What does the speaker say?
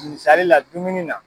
Misali la dumuni na.